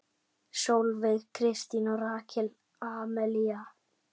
Sólveig Kristín og Rakel Amelía.